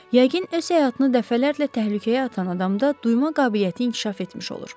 Yəqin, öz həyatını dəfələrlə təhlükəyə atan adamda duyma qabiliyyəti inkişaf etmiş olur.